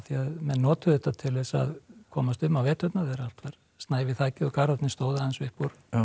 menn notuðu þetta til að komast um á veturna þegar allt var snævi þakið og Garðarnir stóðu aðeins upp úr